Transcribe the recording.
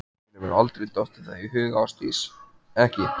Þér hefur aldrei dottið það í hug Ásdís, ekki.